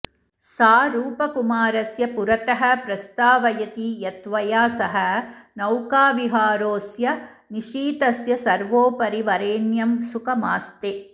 सा रूपकुमारस्य पुरतः प्रस्तावयति यत्त्वया सह नौकाविहारोऽस्य निशीथस्य सर्वोपरि वरेण्यं सुखमास्ते